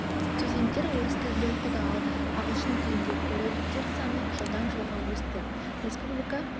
студенттер орыс тілінде оқыды ал ағылшын тілінде колледждер саны жылдан жылға өсті республика